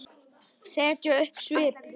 Setja upp svip?